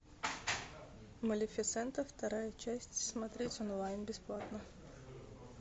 малефисента вторая часть смотреть онлайн бесплатно